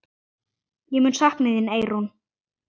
Ég mun sakna þín, Eyrún.